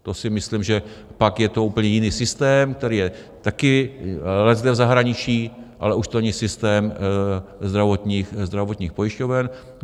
To si myslím, že pak je to úplně jiný systém, který je taky leckde v zahraničí, ale už to není systém zdravotních pojišťoven.